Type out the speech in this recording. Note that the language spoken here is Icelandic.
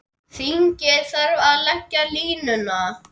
Þingið þarf að leggja línuna.